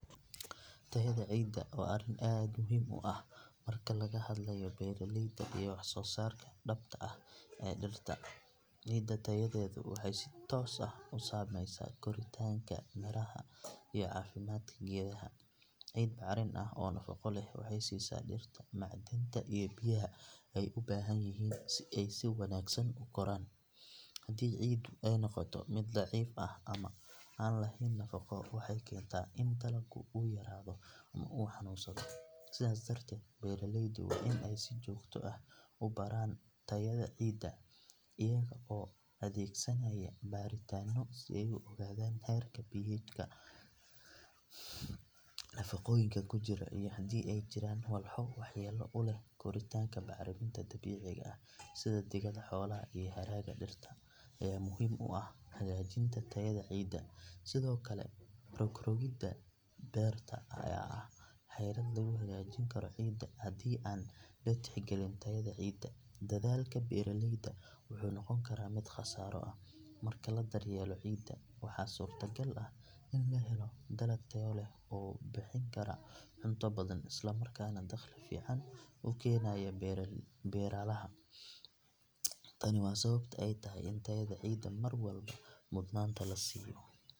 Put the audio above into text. Tayada ciidda waa arrin aad muhiim u ah marka laga hadlayo beeralayda iyo wax-soo-saarka dhabta ah ee dhirta. Ciida tayadeedu waxay si toos ah u saameysaa koritaanka, midhaha iyo caafimaadka geedaha. Ciid bacrin ah oo nafaqo leh waxay siisaa dhirta macdanta iyo biyaha ay u baahan yihiin si ay si wanaagsan u koraan. Haddii ciiddu ay noqoto mid daciif ah ama aan lahayn nafaqo, waxay keentaa in dalagga uu yaraado ama uu xanuunsado. Sidaas darteed, beeraleydu waa in ay si joogto ah u baaran tayada ciidda iyaga oo adeegsanaya baaritaanno si ay u ogaadaan heerka pH-ga, nafaqooyinka ku jira iyo haddii ay jiraan walxo waxyeello u leh koritaanka. Bacriminta dabiiciga ah sida digada xoolaha iyo hadhaaga dhirta ayaa muhiim u ah hagaajinta tayada ciidda, sidoo kale rog-rogidda beerta ayaa ah xeelad lagu hagaajin karo ciidda. Haddii aan la tixgelin tayada ciidda, dadaalka beeraleyda wuxuu noqon karaa mid khasaaro ah. Marka la daryeelo ciidda, waxaa suurtagal ah in la helo dalag tayo leh oo bixin kara cunto badan, isla markaana dakhli fiican u keenaya beeralaha. Tani waa sababta ay tahay in tayada ciidda mar walba mudnaanta la siiyo.